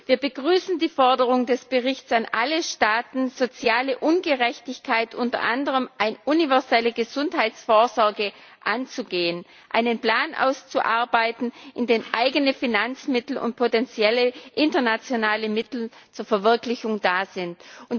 Wir begrüßen die Forderung des Berichts an alle Staaten, soziale Ungerechtigkeit unter anderem durch eine universelle Gesundheitsvorsorge anzugehen, einen Plan auszuarbeiten, in dem eigene Finanzmittel und potenzielle internationale Mittel zur Verwirklichung bereitstehen.